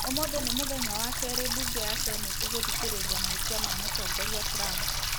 ũmũthĩĩ nĩ mũthenya wa kerĩ bunge ya Seneti kũthikĩrĩria mahĩtia ma mũtongoria Trump